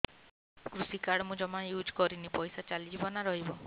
କୃଷି କାର୍ଡ ମୁଁ ଜମା ୟୁଜ଼ କରିନି ପଇସା ଚାଲିଯିବ ନା ରହିବ